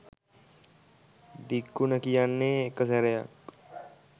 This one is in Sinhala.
දික් උන කියන්නේ එක සැරයක්.